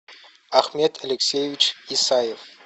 ахмед алексеевич исаев